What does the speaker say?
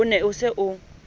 o ne o se o